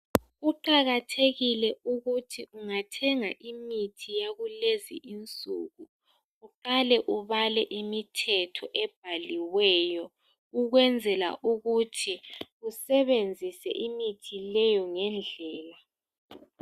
kuqakathekile ukuthi ungathenga imithi yakulezi insuku uqale ubale imthetho ebhaliweyo ukwenzelaukuthi usebenzuse imithi leyo ngaleyo ngendlela.